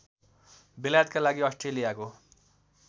बेलायतका लागि अस्ट्रेलियाको